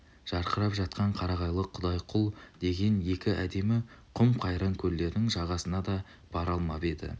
жарқырап жатқан қарағайлы құдайқұл деген екі әдемі құм-қайран көлдердің жағасына да бара алмап еді